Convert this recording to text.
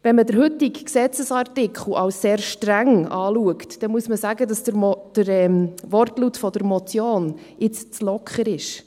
Wenn man den heutigen Gesetzesartikel als sehr streng betrachtet, muss man sagen, dass der Wortlaut der Motion jetzt zu locker ist.